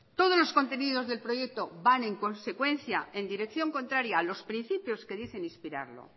todos los contenidos del proyecto van en consecuencia en dirección contraria a los principios que dicen inspirarlo